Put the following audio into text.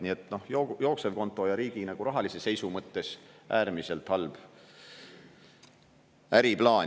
Nii et jooksevkonto ja riigi rahalise seisu mõttes äärmiselt halb äriplaan.